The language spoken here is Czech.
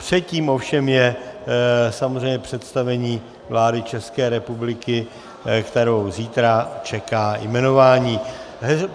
Předtím ovšem je samozřejmě představení vlády České republiky, kterou zítra čeká jmenování.